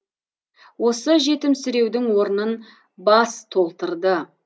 осы жетімсіреудің орнын бас толтырды